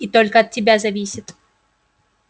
и только от тебя зависит